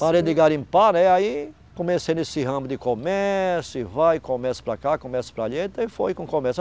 Parei de garimpar, né e aí comecei nesse ramo de comércio, e vai comércio para cá, comércio para ali, e foi com o comércio.